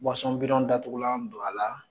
bi datugulan don a la